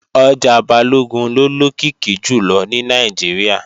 Ọjà Balógun ló lókìkí jùlọ ní Nàìjíríà